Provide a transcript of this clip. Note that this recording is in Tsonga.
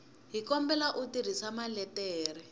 hi kombela u tirhisa maletere